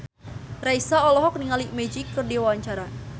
Raisa olohok ningali Magic keur diwawancara